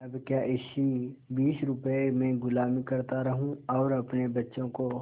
अब क्या इसी बीस रुपये में गुलामी करता रहूँ और अपने बच्चों को